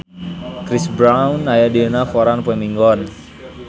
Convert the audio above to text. Chris Brown aya dina koran poe Minggon